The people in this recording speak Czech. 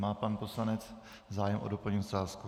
Má pan poslanec zájem o doplňující otázku?